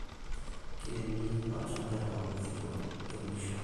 Kiremi olchamba eton eitu iunisho